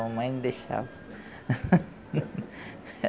A mamãe não deixava.